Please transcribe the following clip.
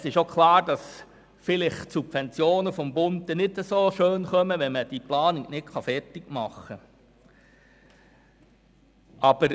Es ist auch klar, dass es mit den Subventionen des Bundes vielleicht nicht gut kommt, wenn diese Planung nicht fertig gemacht werden kann.